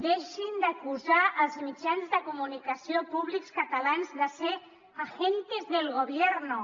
deixin d’acusar els mitjans de comunicació públics catalans de ser agentes del gobierno